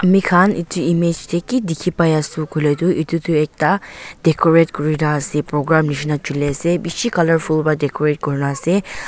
amikhan edu image tae kidikhi paiase koilae tu edu tu ekta decorate kurina ase program nishina chuliase bishi colourful pra decorate kurina ase.